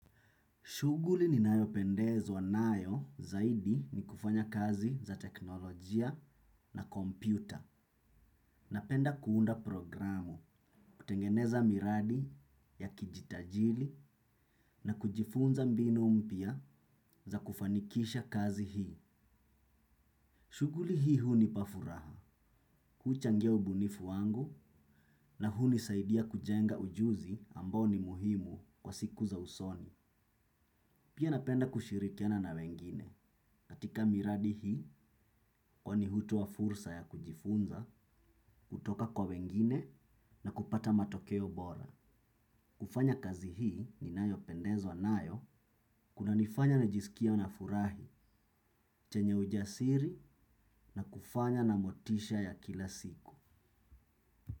Shughuli ni nayopendezwa nayo zaidi ni kufanya kazi za teknolojia na kompyuta. Napenda kuunda programu, kutengeneza miradi ya kijitajili na kujifunza mbinu mpya za kufanikisha kazi hii. Shughuli hii hunipa furaha, kuchangia ubunifu wangu na huni saidia kujenga ujuzi ambao ni muhimu kwa siku za usoni. Pia napenda kushirikiana na wengine, katika miradi hii kwani hutoa fursa ya kujifunza, kutoka kwa wengine na kupata matokeo bora. Kufanya kazi hii ni nayo pendezwa nayo, kuna nifanya na jisikie na furahi, chenye ujasiri na kufanya na motisha ya kila siku.